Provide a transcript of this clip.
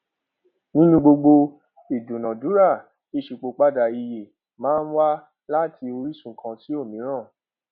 nínú gbogbo ìdúnadúrà ìṣípòpadà iye máa ń wà láti orísun kan sí òmíràn